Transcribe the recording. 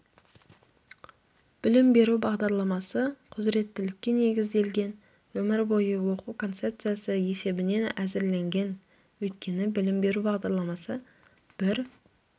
білім беру бағдарламасы құзыреттілікке негізделген өмір бойы оқу концепциясы есебінен әзірленген өйткені білім беру бағдарламасы бір